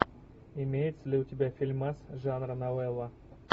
имеется ли у тебя фильмас жанра новелла